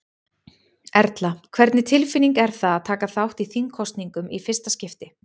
Erla: Hvernig tilfinning er það að taka þátt í þingkosningum í fyrsta skipti?